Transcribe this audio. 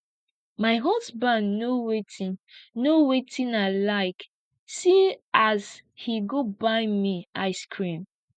my husband know wetin know wetin i like see as he go buy me ice cream